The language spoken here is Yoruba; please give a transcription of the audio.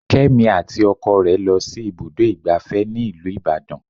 Kémi àti ọkọ rẹ lọ sí ibùdó igbàfẹ́ tí ìlú Ìbàdàn.